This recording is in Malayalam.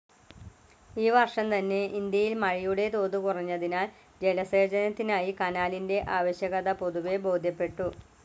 ഈ വർഷം തന്നെ, ഇന്ത്യയിൽ മഴയുടെ തോത് കുറഞ്ഞതിനാൽ, ജലസേചനത്തിനായി കനാലിന്റെ ആവശ്യകത പൊതുവേ ബോധ്യപ്പെട്ടു.